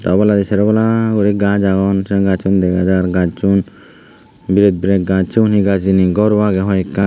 obladi sero polla guri gaaj agon sei gajjun dega jar gajjun biret biret gaaj sigun hi gaaj hijeni garow agey hoiekkan.